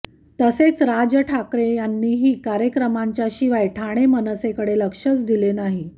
तसेच राज ठाकरे यांनीही कार्यक्रमांच्याशिवाय ठाणे मनसेकडे लक्षच दिलं नाही